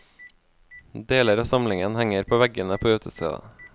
Deler av samlingen henger på veggene på utestedet.